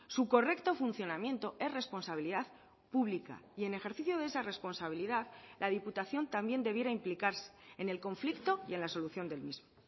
su correcto funcionamiento es responsabilidad pública y en ejercicio de esa responsabilidad la diputación también debiera implicarse en el conflicto y en la solución del mismo